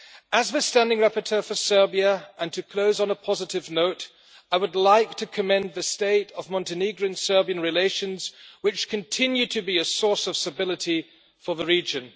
As the standing rapporteur for Serbia and to close on a positive note I would like to commend the state of Montenegrin-Serbian relations, which continue to be a source of stability for the region.